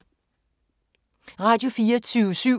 Radio24syv